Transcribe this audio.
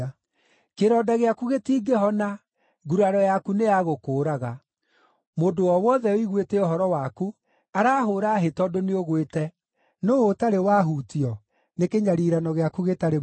Kĩronda gĩaku gĩtingĩhona; nguraro yaku nĩ ya gũkũũraga. Mũndũ o wothe ũiguĩte ũhoro waku arahũũra hĩ tondũ nĩũgwĩte, nũũ ũtarĩ wahutio nĩ kĩnyariirano gĩaku gĩtarĩ mũthia?